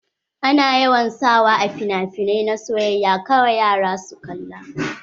Ana yawan sa wa a finafinai na soyayya kara yara su kalla.